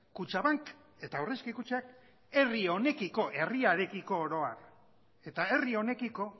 kutxabank eta aurrezki kutxak herri honekiko herriarekiko oro har eta herri honekiko